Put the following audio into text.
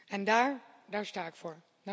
En daar, daar sta ik voor.